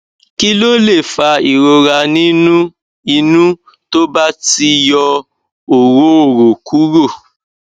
kí ló lè fa ìrora nínú inu tó ba ti yọ orooro kúrò